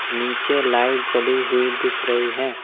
नीचे लाइट जली हुई दिख रही है।